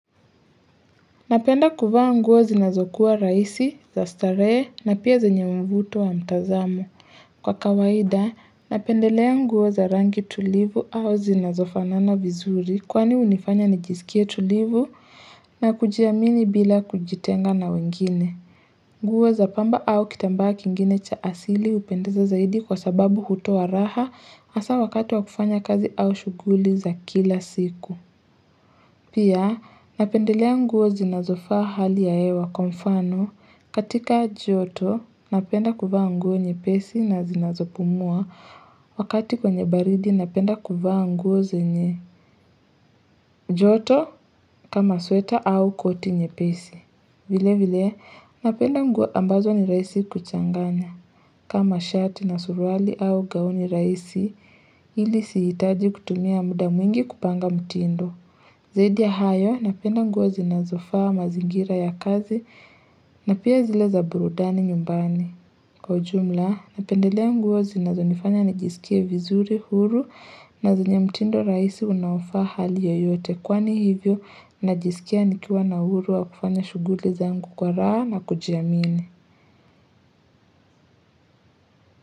Napenda kuvaa nguo zinazokuwa rahisi, za starehe na pia zenye mvuto wa mtazamo. Kwa kawaida, napendelea nguo za rangi tulivu au zinazofanana vizuri kwani unifanya nijisikie tulivu na kujiamini bila kujitenga na wengine. Nguo za pamba au kitambaa kingine cha asili upendeza zaidi kwa sababu hutowa raha hasa wakati wa kufanya kazi au shuguli za kila siku. Pia, napendelea nguo zinazofaa hali ya hewa kwa mfano katika joto napenda kuvaa nguo nyepesi na zinazopumua wakati kwenye baridi napenda kuvaa nguo zenye joto kama sweta au koti nyepesi. Vile vile, napenda nguo ambazo ni rahisi kuchanganya kama shati na surwali au gauni raisi ili siitaji kutumia muda mwingi kupanga mtindo. Zaidi ya hayo, napenda nguo zinazofa mazingira ya kazi na pia zile za burudani nyumbani. Kwa ujumla, napendelea nguo zinazo nifanya nijisikie vizuri huru na zenye mtindo rahisi unaofaa hali yoyote. Kwani hivyo, najisikia nikiwa na huru wa kufanya shuguli zangu kwa raha na kujiamini.